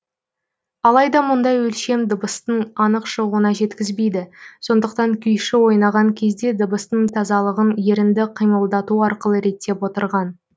алайда мұндай өлшем дыбыстын анық шығуына жеткізбейді сондықтан күйші ойнаған кезде дыбыстың тазалығын ерінді қимылдату арқылы реттеп отырған